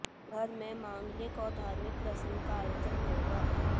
घर में मांगलिक और धार्मिक प्रसंग का आयोजन होगा